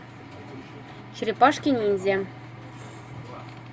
черепашки ниндзя